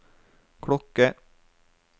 klokke